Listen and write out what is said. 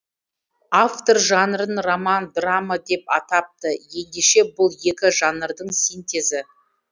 автор жанрын роман драма деп атапты ендеше бұл екі жанрдың синтезі